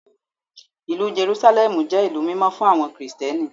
Ìlú Jerúsálẹ́mù jẹ́ ilé mímọ́ fún àwọn Kristẹni.